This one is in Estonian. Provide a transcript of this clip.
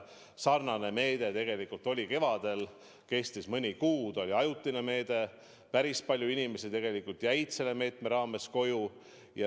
Sarnane meede oli tegelikult kevadel, see kestis mõni kuu, see oli ajutine meede ja päris palju inimesi tegelikult jäi selle meetme raames koju.